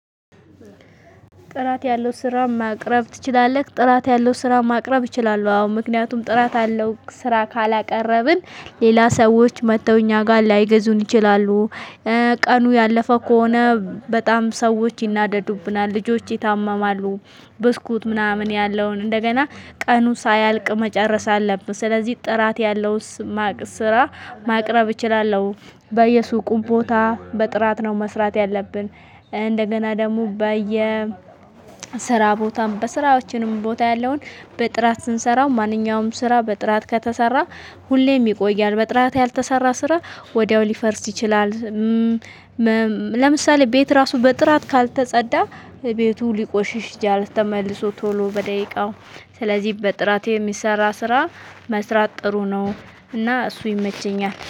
ጥራት ያለው ስራ ማቅረብ ትችላለህ? ጥራት ያለው ስራ ማቅረብ ይችላል። አዎ ምክንያቱም ጥራት አለው ስራ ካላቀረብን ሌላ ሰዎች መጥተው እኛ ጋር ላይገዙን ይችላሉ። ቀኑ ያለፈ ከሆነ በጣም ሰዎች ይናደዱብናል ልጆች ይታመማሉ። ብስኩት ምናምን ያለውን እንደገና ቀኑ ሳያልቅ መጨረስ አለብን ስለዚህ ጥራት ያለውን ስራ ማቅረብ እችላለሁ። በየሱቁ ቦታ በጥራት ነው መስራት ያለብን። እንደገና ደግሞ በየ ስራ ቦታም በስራዎችንም ቦታ ያለውን በጥራት ስንሰራው ማንኛውም ስራ በጥራት ከተሰራ። ሁሌም ይቆያል በጥራት ያልተሰራ ስራ ወዲያው ሊፈርስ ይችላል። ለምሳሌ ቤት ራሱ በጥራት ካልተጸዳ ቤቱ ሊቆሽሽ ጃል ተመልሶ ቶሎ በደቂቃው። ስለዚህ በጥራት የሚሰራ ስራ መስራት ጥሩ ነው። እና እሱ ይመቸኛል